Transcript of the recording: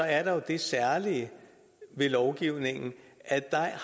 er der jo det særlige ved lovgivningen